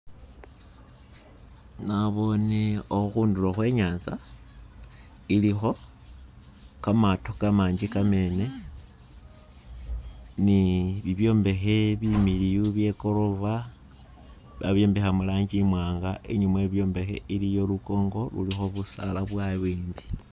naboone ohu hundulo hwe nyanza iliho kamaato kamanji kamene, ni bibyombehe bimiliyu bye gorova, babyombeha muranji imwanga, inyuma we byombehe iliyo lukongo luliho busaala bwa'wimbi